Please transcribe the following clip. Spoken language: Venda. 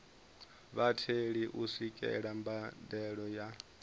vhatheli u swikelela mbadelo ya